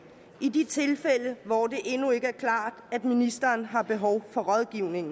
i de tilfælde hvor det endnu ikke er klart at ministeren har behov for rådgivning